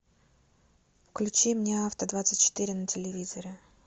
включи мне авто двадцать четыре на телевизоре